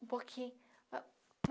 Um pouquinho.